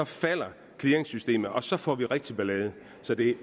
falder clearingsystemet og så får vi rigtig ballade så det